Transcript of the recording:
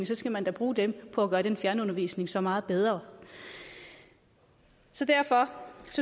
så skal man da bruge dem på at gøre den fjernundervisning så meget bedre så derfor